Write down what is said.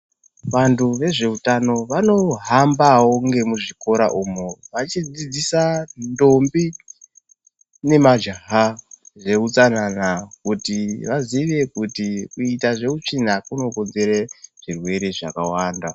Vantu vezveutano vanohambawo ngemuzvikora umo vachidzidzisa ndombi nemajaha zveutsanana kuti vaziye kuti kuita zveutsvina kunokonzera zvirwere zvakawanda.